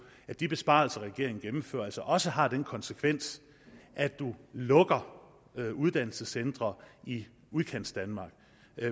at de besparelser regeringen gennemfører altså også har den konsekvens at man lukker uddannelsescentre i udkantsdanmark